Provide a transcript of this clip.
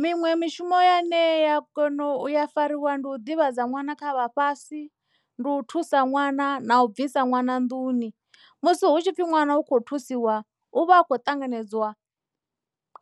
Miṅwe mishumo ya ne ya kona uya fariwa ndi u ḓivhadza ṅwana kha vhafhasi ndi u thusa ṅwana na u bvisa ṅwana nḓuni musi hu tshi pfhi ṅwana u kho thusiwa u vha a khou ṱanganedzwa